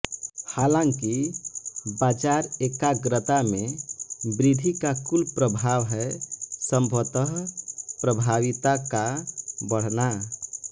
हालांकि बाजार एकाग्रता में वृद्धि का कुल प्रभाव है संभवतः प्रभाविता का बढ़ना